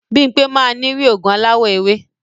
Bimpe máa ni ri ogun alawọ ewe.